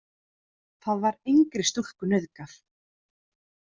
Þar var engri stúlku nauðgað.